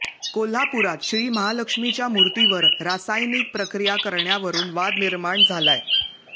कोल्हापुरात श्री महालक्ष्मीच्या मूर्तीवर रासायनीक प्रक्रिया करण्यावरुन वाद निर्माण झालाय